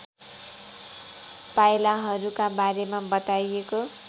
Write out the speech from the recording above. पाइलाहरूका बारेमा बताइएको